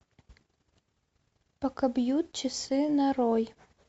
пока бьют часы нарой